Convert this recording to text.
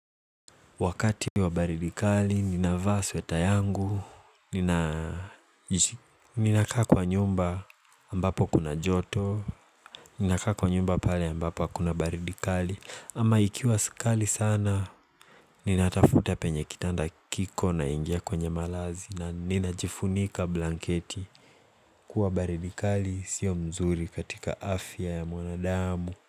Wakati wa baridi kali ninavaa sweta yangu Ninakaa kwa nyumba ambapo kuna joto Ninaka kwa nyumba pale ambapo hkuna baridi kali ama ikiwa kali sana Ninatafuta penye kitanda kiko na ingia kwenye malazi na ninajifunika blanketi kuwa baridikali sio mzuri katika afya ya mwanadamu.